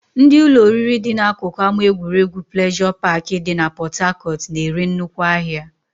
Ndị ụlọ oriri dị n'akụkụ ama egwuregwu pleasure park dị na port Harcourt na-ere nnukwu ahịa